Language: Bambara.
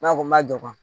N'a ko n ma jɔ